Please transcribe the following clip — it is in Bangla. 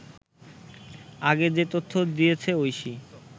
আগে যে তথ্য দিয়েছে ঐশী